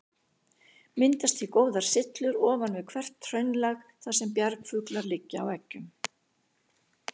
Myndast því góðar syllur ofan við hvert hraunlag, þar sem bjargfuglar liggja á eggjum.